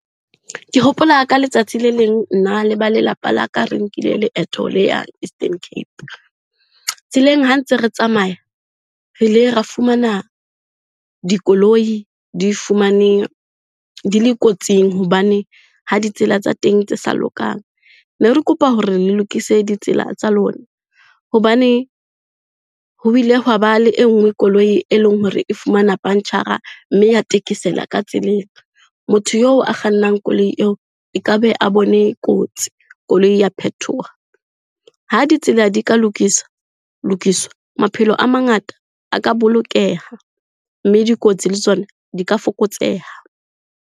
Ke hopola ka letsatsi le leng, nna le ba lelapa la ka re nkile leeto le yang Eastern Cape. Tseleng ha ntse re tsamaya, re ile ra fumana dikoloi di fumane, di le kotsing hobane ha ditsela tsa teng tse sa lokang. Ne re kopa hore le lokise ditsela tsa lona hobane ho bile hwaba le e nngwe koloi e leng hore e fumana punch-ara mme ya thekesela ka tseleng. Motho eo a kgannang koloi eo e ka be a bone kotsi, koloi ya phethoha. Ha ditsela di ka lokisa, lokiswa maphelo a mangata a ka bolokeha, mme dikotsi le tsona di ka fokotseha.